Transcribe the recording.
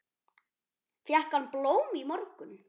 Fékk hann blóm í morgun?